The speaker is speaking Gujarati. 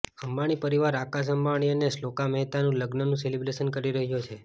અંબાણી પરિવાર આકાશ અંબાણી અને શ્લોકા મહેતાના લગ્નનું સેલિબ્રેશન કરી રહ્યો છે